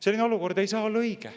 Selline olukord ei saa olla õige.